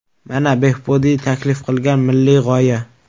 Mana Behbudiy taklif qilgan milliy g‘oya.